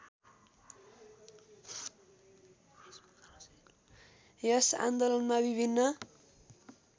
यस आन्दोलनमा विभिन्न